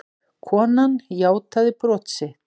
Konan játaði brot sitt